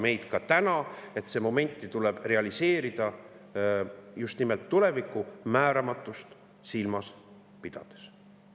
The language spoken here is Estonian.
See tuleb realiseerida just nimelt tuleviku määramatust silmas pidades.